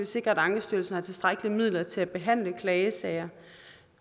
sikre at ankestyrelsen har tilstrækkelige midler til at behandle klagesager